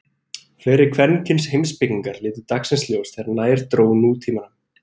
Fleiri kvenkyns heimspekingar litu dagsins ljós þegar nær dró nútímanum.